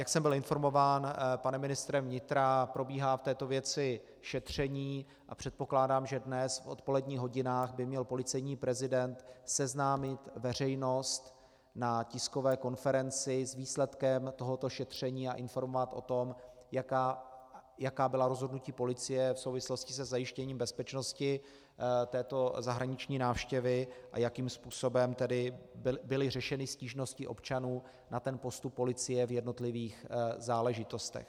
Jak jsem byl informován panem ministrem vnitra, probíhá v této věci šetření a předpokládám, že dnes v odpoledních hodinách by měl policejní prezident seznámit veřejnost na tiskové konferenci s výsledkem tohoto šetření a informovat o tom, jaká byla rozhodnutí policie v souvislosti se zajištěním bezpečnosti této zahraniční návštěvy a jakým způsobem tedy byly řešeny stížnosti občanů na ten postup policie v jednotlivých záležitostech.